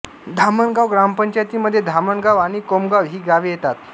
धामणगाव ग्रामपंचायतीमध्ये धामणगाव आणि कोमगाव ही गावे येतात